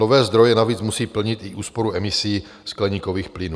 Nové zdroje navíc musí plnit i úsporu emisí skleníkových plynů.